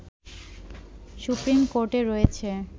supreme কোর্টে রয়েছে